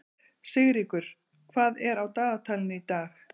Sigríkur, hvað er á dagatalinu í dag?